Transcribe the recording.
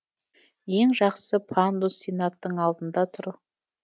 ең жақсы пандус сенаттың алдында тұр